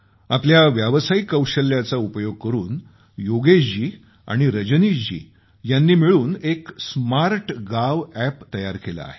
आपल्या व्यावसायिक कौशल्याचा उपयोग करून योगेश जी आणि रजनीश जी यांनी मिळून एक स्मार्टगांव अॅप तयार केलं आहे